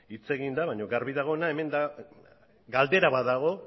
hitz egin da baina garbi dagoena galdera bat dago